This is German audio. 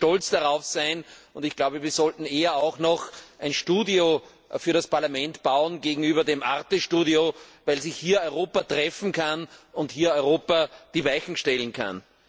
Wir sollten stolz darauf sein, und wir sollten eher auch noch ein Studio für das Parlament bauen gegenüber dem arte Studio, weil sich hier Europa treffen kann und hier Europa die Weichen stellen kann.